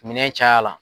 Minɛn caya la